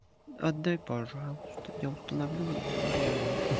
отдай пожалуйста я установлю и верну